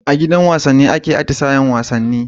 A gidan wasanni ake atisayen wasanni